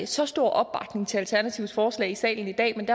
så stor opbakning til alternativets forslag i salen i dag men